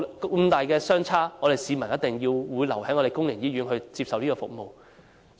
金額相差這麼大，市民必定會留在公營醫院接受服務。